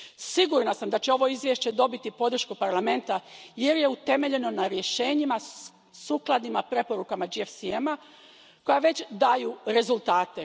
Sigurna sam da će ovo izvješće dobiti podršku Parlamenta jer je utemeljeno na rješenjima sukladnima preporukama GFCM a koja već daju rezultate.